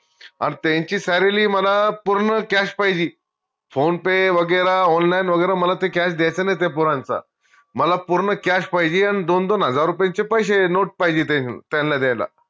अन त्यांची salary मला पूर्ण cash पाहिजी फोने पे वगैरा online वगैरा मला ते cash द्यायचं नाई त्या पोरांचं मला पूर्ण cash पाहिजे अन दोन दोन हजार रुपयेचे पैशे note पाहिजे ते त्यांला द्यायला